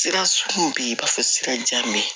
Sira sugu be yen i b'a fɔ sira jan be ye